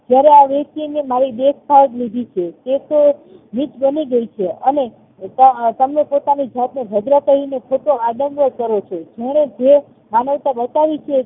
જ્યારે આ વ્ય્કતિએ મારી દેખભાળ લીધી છે એતો નીચ બનીગય છે અને તમે પોતાની જાતને જબરા કહીને ખોટો આદનય કરો છો જેને જે માનવતા બતાવીછે